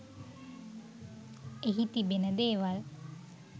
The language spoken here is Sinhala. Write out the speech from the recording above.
එහි තිබෙන දේවල්